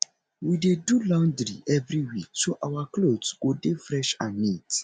we dey do laundry every week so our clothes go dey fresh and neat